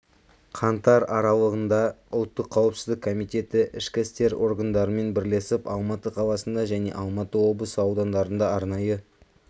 қаңтар аралығында ұлттық қауіпсіздік комитеті ішкі істер органдарымен бірлесіп алматы қаласында және алматы облысы аудандарында арнайы